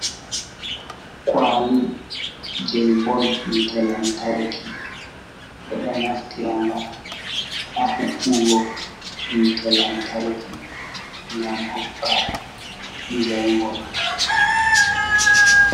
Kwaali jei bol hiite lantarki. Ɓe ɗo naftira nga ha huɓɓugo hiite lantarki, ngam hokka njaingol.